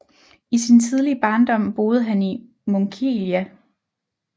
I sin tidlige barndom boede han i Munkelia